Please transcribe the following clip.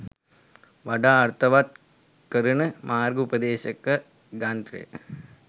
වඩාත් අර්ථවත් කරන මාර්ග උපදේශක ග්‍රන්ථය